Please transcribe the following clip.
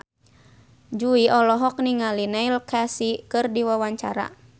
Jui olohok ningali Neil Casey keur diwawancara